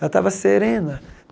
Ela estava serena.